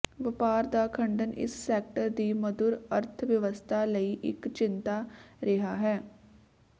ਵਪਾਰ ਦਾ ਖੰਡਨ ਇਸ ਸੈਕਟਰ ਦੀ ਮਧੁਰ ਅਰਥ ਵਿਵਸਥਾ ਲਈ ਇੱਕ ਚਿੰਤਾ ਰਿਹਾ ਹੈ